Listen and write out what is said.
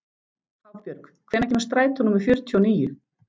Hafbjörg, hvenær kemur strætó númer fjörutíu og níu?